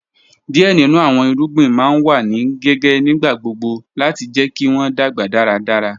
Díẹ̀ nínu àwọn ìrúgbìn ma n wà ní gíǵẹ̀ nígbàgbọ̀gbọ̀ láti jẹ̀ kí wọn dágba dáràdárà